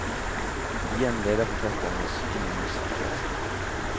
Igjen leder forfatteren oss inn i misforståelser.